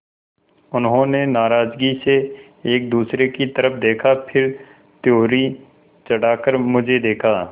उन्होंने नाराज़गी से एक दूसरे की तरफ़ देखा फिर त्योरी चढ़ाकर मुझे देखा